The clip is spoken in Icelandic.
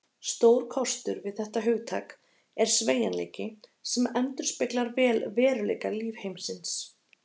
Stór kostur við þetta hugtak er sveigjanleiki, sem endurspeglar vel veruleika lífheimsins.